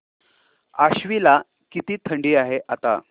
आश्वी ला किती थंडी आहे आता